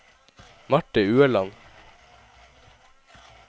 Marthe Ueland